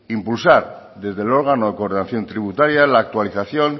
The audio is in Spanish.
impulsar desde el órgano de coordinación tributaria la actualización